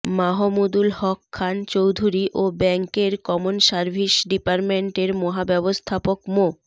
মাহমুদুল হক খান চৌধুরী ও ব্যাংকের common service ডিপার্টমেন্টের মহাব্যবস্থাপক মো